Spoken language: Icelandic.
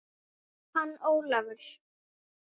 Hann Ólafur?